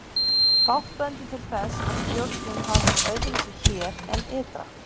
Fátt bendir til þess að stjórnun hafi verið öðruvísi hér en ytra.